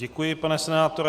Děkuji, pane senátore.